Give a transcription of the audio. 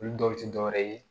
Olu dɔw ti dɔwɛrɛ ye